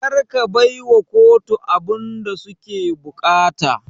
Karka baiwa kotu abunda suke buƙata